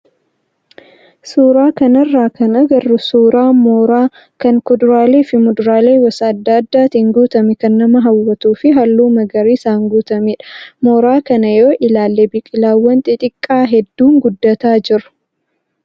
Suuraa kanarraa kan agarru suuraa mooraa kan kuduraalee fi muduraalee gosa adda addaatiin guutame kan nama hawwatuu fi halluu magariisaan guutamedha. Mooraa kana yoo ilaalle biqilaawwan xixiqqaa hedduun guddataa jiru.